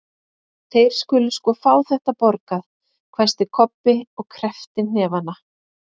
Þeir skulu sko fá þetta borgað, hvæsti Kobbi og kreppti hnefana.